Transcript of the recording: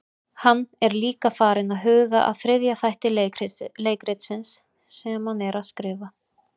Hann er líka farinn að huga að þriðja þætti leikritsins sem hann er að skrifa.